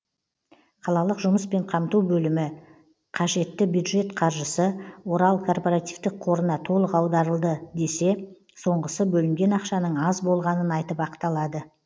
қалалық жұмыспен қамту бөлімі қажетті бюджет қаржысы орал корпоративтік қорына толық аударылды десе соңғысы бөлінген ақшаның аз болғанын айтып ақталады